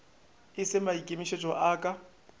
e se maikemišetšo a ka